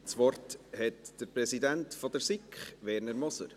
Das Wort hat der Präsident der SiK, Werner Moser.